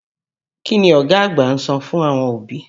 Kí ni ọ̀gá àgbà ń sọ fún àwọn òbí?